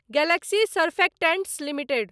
Galaxy surfactants limited